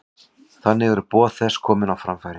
Þannig eru boð þess komin á framfæri.